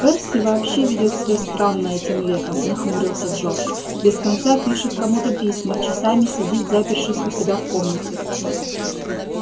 перси вообще ведёт себя странно этим летом нахмурился джордж без конца пишет кому-то письма часами сидит запершись у себя в комнате